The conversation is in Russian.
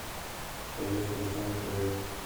поехали тайм ту вэйп